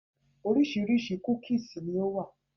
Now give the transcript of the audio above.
Oríṣiríṣi cookies ni ó wà